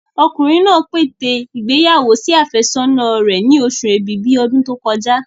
Ọkùnrin náà pète ìgbéyàwó sí àfẹ́sọ́nà rẹ̀ ni oṣù ẹ̀bìbí ọdún tó kọjá.